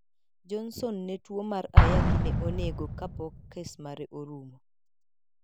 Johnson ne tuo mar ayaki ne onego kapok kes mare orumo.